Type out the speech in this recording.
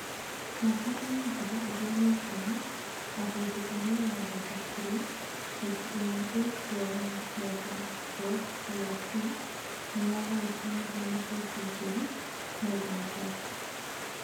Mwaka-inĩ wa ngiri igĩrĩ na ikũmi, o hĩndĩ ĩrĩa yaathondekirwo, bengi ĩrĩa ĩĩ kuo ya Northern Rock plc nĩ yagayũkanirio na 'bengi njũru', Northern Rock ( Asset Management)